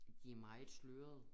De meget slørede